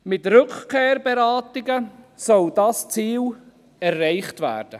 Dieses Ziel soll mit Rückkehrberatungen erreicht werden.